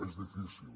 és difícil